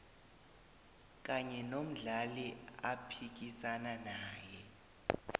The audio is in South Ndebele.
kanye nomdlali aphikisana naye